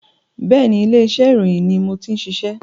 Bẹ́ẹ̀ni, ilé iṣẹ́ ìròyìn ni mo ti ń ṣiṣẹ́